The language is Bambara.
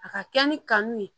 A ka kɛ ni kanu ye